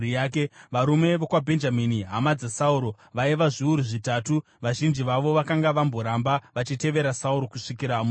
varume vokwaBhenjamini, hama dzaSauro vaiva zviuru zvitatu vazhinji vavo vakanga vamboramba vachitevera Sauro kusvikira musi uyu;